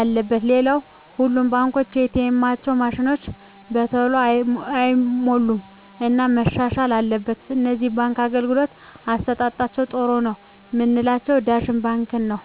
አለበት ሌላው ሁሉም ባንኮች ኤ. ቴኤማቸው ማሽኖች በተሎ አይሞሉም እና መሻሻል አትበል ከነዚህ የባንክ አገልግሎት አሠጣጣቸዉ ጥሩ ነው ምላቸውን ዳሽን ባንክን ነዉ